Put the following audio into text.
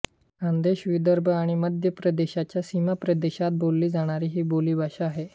खान्देश विदर्भ आणि मध्यप्रदेशाच्या सीमाप्रदेशात बोलली जाणारी ही बोली आहे